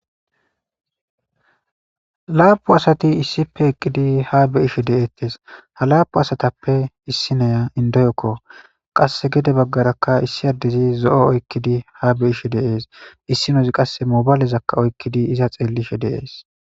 laapu asati issipe eqqidi ha be ishe deeettes ha laapu asatappe issi noya indoyokko qass gede baggarakka issi addezi zo7o oykkidi ha be ishe deees issinozi qasse mobaalezakka oykkidi iza xeellishe deees